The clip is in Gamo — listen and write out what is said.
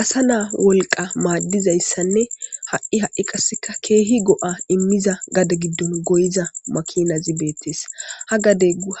Asa na woliqa madizayisanne hai hai qaseka kehi goa imiza gade gidon goyiza makinazi betes